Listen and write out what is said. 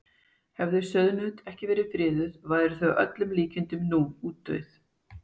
Hefðu sauðnaut ekki verið friðuð væru þau að öllum líkindum nú útdauð.